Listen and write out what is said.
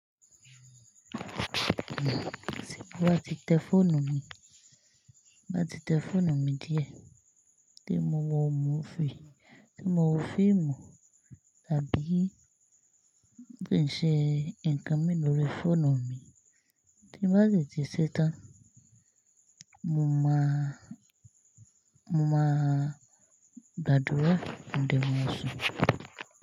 Tí mo bá ti tẹ fóònù mi, bá ti tẹ fóònù mi díẹ̀, tí mo wo múfì, tí mo wo fíìmù àbí bí n ṣe ǹkan mìí ní orí fóònù mi tí bá ti ṣe tán, mo máa, mo máa gbàdúrà mo de ma sùn.